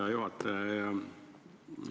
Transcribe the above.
Hea juhataja!